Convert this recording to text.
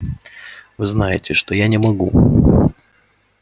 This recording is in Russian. вы знаете что я не могу